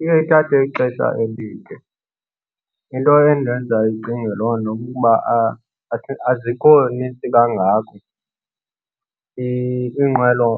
Iye ithathe ixesha elide. Into endenza ndicinge loo nto kukuba azikho nintsi kangako iinqwelo